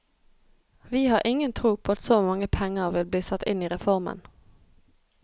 Vi har ingen tro på at så mange penger vil bli satt inn i reformen.